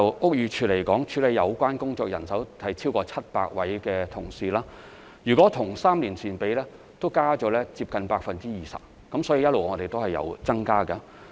屋宇署目前處理有關工作的人員已超過700位，若與3年前相比，現已增加接近 20%， 因此我們一直也有增加人手。